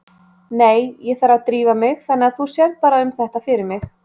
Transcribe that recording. Nei, ég þarf að drífa mig þannig að þú sérð bara um þetta fyrir mig